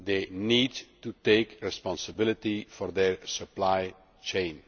too. They need to take responsibility for their supply chain.